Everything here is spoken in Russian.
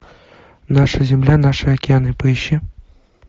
наша земля наши океаны поищи